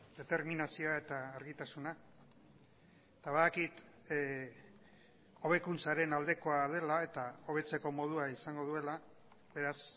determinazioa eta argitasuna eta badakit hobekuntzaren aldekoa dela eta hobetzeko modua izango duela beraz